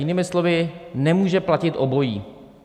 Jinými slovy, nemůže platit obojí.